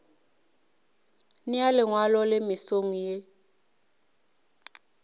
nea lengwalo le mesong ye